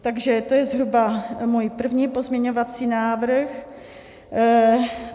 Takže to je zhruba můj první pozměňovací návrh.